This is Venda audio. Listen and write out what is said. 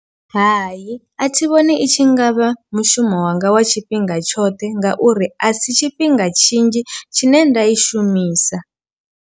Hai, a thi vhoni i tshi ngavha mushumo wanga wa tshifhinga tshoṱhe ngauri a si tshifhinga tshinzhi tshine nda i shumisa.